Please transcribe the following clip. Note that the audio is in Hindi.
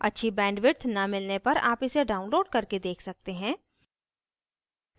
अच्छी bandwidth न मिलने पार आप इसे download करके देख सकते हैं